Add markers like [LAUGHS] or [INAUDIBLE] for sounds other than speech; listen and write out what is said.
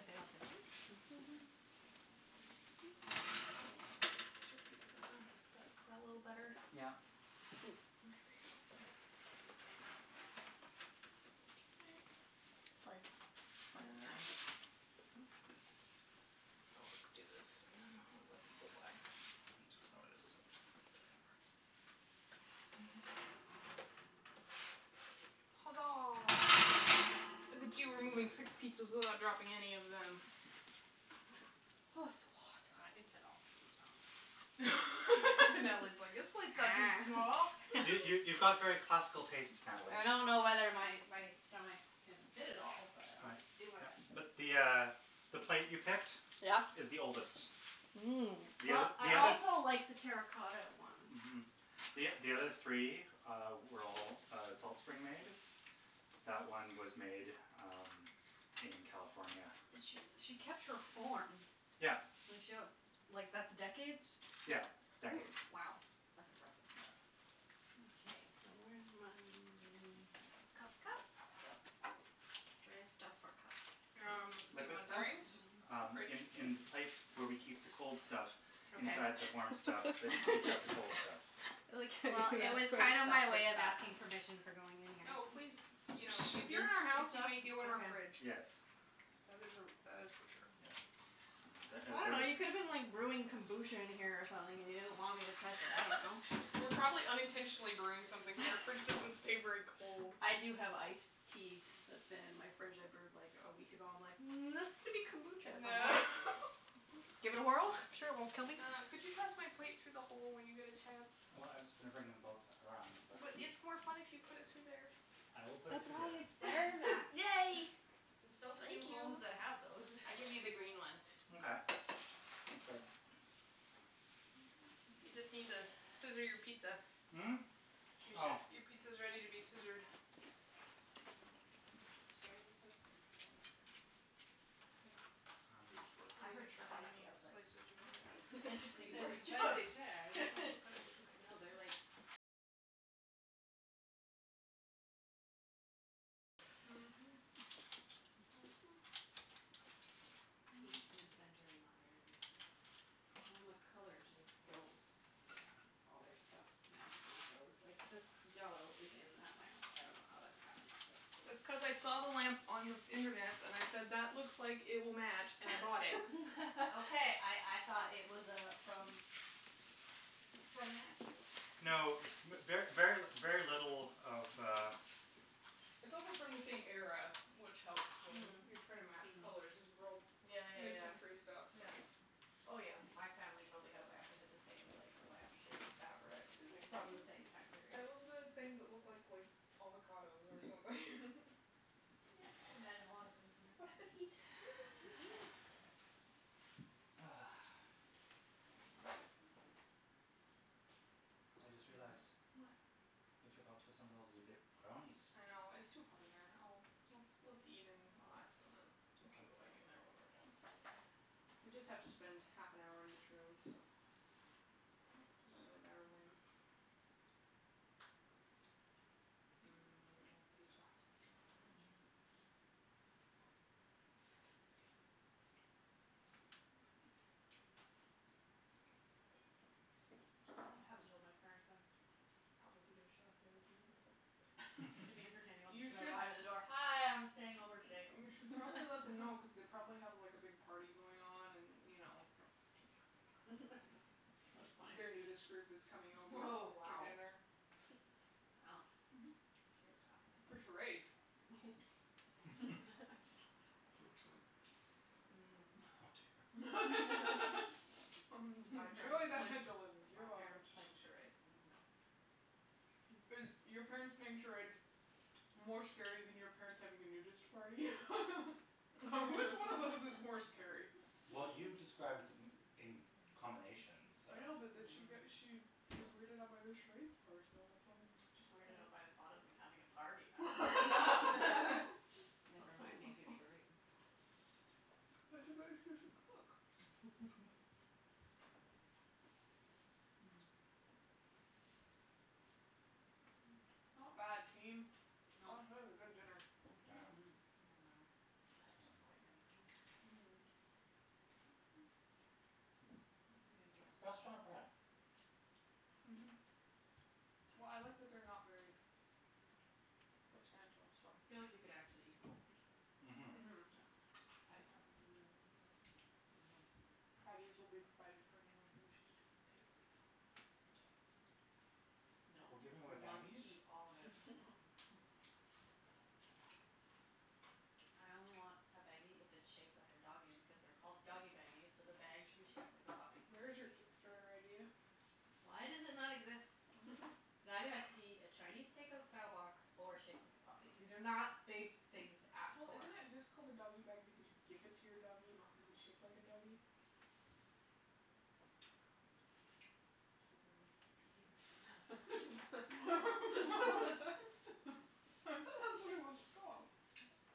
Are they all different? Oh, they So, are. this is your [NOISE] Very pretty pizza. plates. Is that, is that a little I better? like this Yeah. one. There we go. [NOISE] Okay. Foots. Foots time. Ah Let's do this and then we'll let people by. I need to lower this, actually. [INAUDIBLE] Huzzah. Look at you removing six pizzas without dropping any of them. Oh, it's so hot. I can fit all my pizza on my plate. [LAUGHS] Natalie's like, "This plate's not too small." [LAUGHS] You, you, you've got very [NOISE] classical tastes, Natalie. I don't know whether my my stomach can fit it all, but I'm Right. gonna do my Yep. best. But the uh the plate you picked Yeah? is the oldest. Mmm. The Well, oth- the I other also like the terra cotta one. Mhm. The o- the other three, uh, were all, uh, Salt Spring made. That one was made, um, in California. But she, she kept her form. Yeah. Like she wants, like that's decades? Yeah, decades. W- wow, that's impressive. Yeah. Okay, so where's my m- cup, cup, cup, cup? Where is stuff for cup? Um, do you Liquid want stuff? drinks? Um, Fridge. in, in the place where we keep the cold stuff [LAUGHS] Okay. inside the warm stuff that keeps [LAUGHS] out the cold stuff. I like how Well, it was kind of my way of asking you [INAUDIBLE] permission for going in here. Oh, please. You know, if [NOISE] you're in our house, you may go in our fridge. Yes. That is a, that is for sure. Yeah. Ah the I ah dunno, you could have the been like brewing kombucha in here or something and you didn't want me to touch it, I don't know. [LAUGHS] We're probably unintentionally brewing something because our fridge doesn't stay very cold. [LAUGHS] I do have ice tea that's been in my fridge I brewed like a week ago. I'm like, "Mm, that's going to be kombucha at some point." [LAUGHS] Give it a whirl, [NOISE] I'm sure it won't kill me. Uh, could you pass my plate through the hole when you get a chance? Well, I was just gonna bring them both around, but But it's more fun if you put it through there. I will put it That's through why there. it's [LAUGHS] there, Matt. Yay! There's so Thank few homes you. that have those. I give you the green one. Mkay. [NOISE] Thanks, babe. [NOISE] You just need to scissor your pizza. Mm? [NOISE] Your Oh. sci- [NOISE] your pizza is ready to be scissored. These chairs are so spicy. I love them. I just work. I I I said heard s- spacey. wasn't sure how many spicy. I was like, slices you wanna do. "Spicy? It's an Cuts pretty [LAUGHS] interesting Those word easily. spicy chairs. You choice." can [LAUGHS] also cut it with the knife No, if you they're, like want. Mhm. Like, peak mid-century modern, Well, and the colour just space age. goes. Yeah. All their stuff magically goes. Like, this yellow is in that lamp. I dunno how that ever happened, but it is. That's cuz I saw the lamp on internets and I said, "That looks like it will match," and I bought it. [LAUGHS] Okay, I I thought it was uh from [LAUGHS] from Matthew. [NOISE] No, Funny. mer- ver, very, very little of uh It's also from the same era, which helps when you're trying to match Mhm. colors. These are all Yeah, yeah, yeah. mid-century stuff, so Oh, yeah. My family totally had a lamp that had the same like lamp shade fabric Isn't it from the cute? same [NOISE] time I period. love the things that look like, like avocados or something. [LAUGHS] Yeah, I can imagine a lot of things in there. Bon appetit. [NOISE] [NOISE] Eat. Ah. I just realized What? we forgot to assemble ze b- brownies. I know. It's too hot in there. I'll Let's, let's eat and relax and then we can Okay. go back in there when we're done. We just have to spend half an hour in each room, so, doesn't really matter when. Mmm, pizza. I haven't told my parents I'm probably gonna show up there this evening. [NOISE] [NOISE] But to be [LAUGHS] entertaining [LAUGHS] I'm You just gonna should arrive at the door, "Hi, I'm staying over today." You should probably let them know cuz they probably have, like, a big party going on and, you know That's funny. their nudist [NOISE] group is coming over Oh, for wow. dinner. Wow, that's really For fascinating. charades. [NOISE] [LAUGHS] [LAUGHS] [NOISE] [LAUGHS] Oh [NOISE] [LAUGHS] Enjoy dear. My parents the playing, mental image, you're my welcome. parents playing charades, no. Is your parents playing charades more scary than your parents having a nudist party? [LAUGHS] [LAUGHS] Which one of those is [NOISE] more scary? Well, you described b- d- m- in combination, so I know, but then she got, Mhm. she was weirded out by the charades part, so that's why I'm Just weirded out [INAUDIBLE] by the thought of them having a party. That's weird enough. [LAUGHS] Never mind making charades. [LAUGHS] But it's a [INAUDIBLE] cook. [NOISE] [LAUGHS] [NOISE] [NOISE] [NOISE] Not bad, Well team. [NOISE] That is a good dinner. Yeah. Mhm. [NOISE] Yum num. [NOISE] Pesto is [NOISE] quite Mm. yummy on here. [NOISE] I Mmm. don't think [NOISE] anybody The else [NOISE] did crust's not that. bad. Mhm. Well, I like that they're not very substantial, so I [NOISE] feel like you could actually eat the whole pizza. [NOISE] Mhm. No. Mhm. I probably will eat the whole pizza. Mhm. [NOISE] Baggies will be provided for anyone who wishes to take a pizza home and not eat it all. [NOISE] No, We're giving away we must baggies? eat all of it. [LAUGHS] I only want a baggie if it's shaped like a doggy because they're called doggy baggies, so the bag should be shaped like a puppy. [NOISE] There is your Kickstarter idea. Why does it not exist? I dunno. It either has to be [LAUGHS] a Chinese takeout style box or shaped like a puppy. These are not big things to ask Well, for. isn't it just called a doggy bag because you give [NOISE] it to your doggy, not cuz it's shaped like a doggy? [NOISE] Don't ruin my [NOISE] dream. [LAUGHS] I thought [NOISE] that's what it was [LAUGHS] [LAUGHS] called.